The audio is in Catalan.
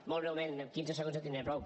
molt breument amb quinze segons en tindré prou